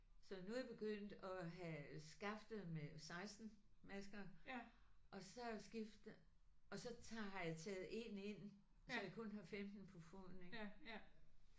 Så nu er jeg begyndt at have skaftet med 16 masker og så skifter og så tager har jeg taget 1 ind så jeg kun har 15 på foden ikk